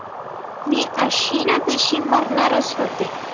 मी अशी ना तशी मरणारच होते